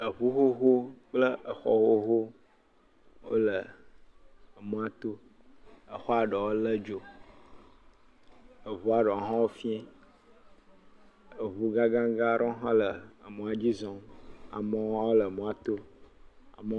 Eŋu xoxo kple exɔ xoxo wole mɔa to. Exɔa ɖewo lé dzo. Eŋua ɖewo hã fiã. Eŋuggãgã aɖewo hã le emɔa dzi zɔm. amewo hã le emɔa to.